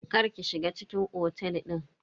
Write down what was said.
Kar ki shiga cikin otel din.